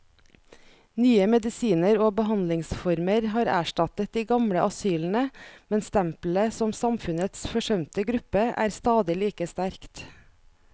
Nye medisiner og behandlingsformer har erstattet de gamle asylene, men stempelet som samfunnets forsømte gruppe er stadig like sterkt.